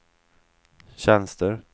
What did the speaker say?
tjänster